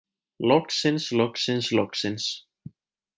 Loksins loksins loksins.